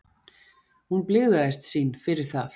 Hún blygðaðist sín fyrir það.